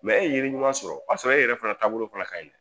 Mɛ e ye yiri ɲuman sɔrɔ, o y'a sɔrɔ e yɛrɛ fana taabolo fana ka ɲi!